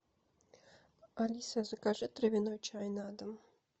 алиса закажи травяной чай на дом